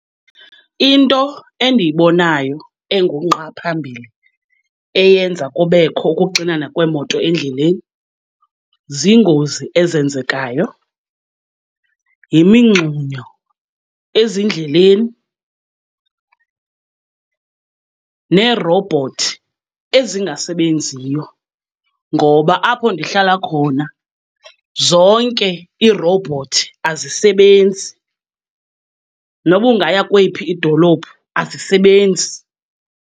Into endiyibonayo engungqa phambili eyenza kubekho ukuxinana kweemoto endleleni ziingozi ezenzekayo, yimingxunyo ezindleleni neerowubhothi ezingasebenziyo. Ngoba apho ndihlala khona zonke iirowubhothi azisebenzi, noba ungaya kweyiphi idolophu azisebenzi.